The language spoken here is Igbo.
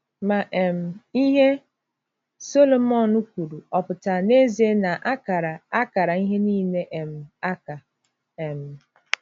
Ma um, ihe Sọlọmọn kwuru ọ̀ pụtara n’ezie na a kara a kara ihe niile um aka? um